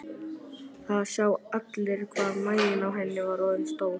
Það sjá allir hvað maginn á henni er orðinn stór.